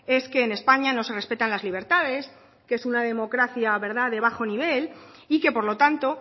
es que en españa no se respetan las libertades que es una democracia de bajo nivel y que por lo tanto